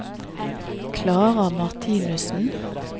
Klara Martinussen